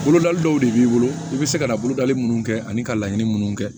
Bolodali dɔw de b'i bolo i bɛ se ka na bolodali minnu kɛ ani ka laɲini minnu kɛ